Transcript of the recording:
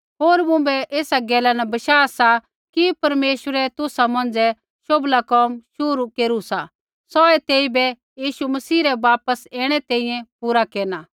होर मुँभै एसा गैला रा बशाह सा कि परमेश्वरै तुसा मौंझ़ै शोभला कोम शुरू केरू सा सौहै तेइबै यीशु मसीह रै वापस ऐणै तैंईंयैं पुरा केरना